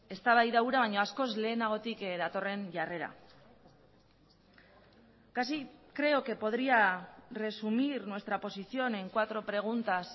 eztabaida hura baino askoz lehenagotik datorren jarrera casi creo que podría resumir nuestra posición en cuatro preguntas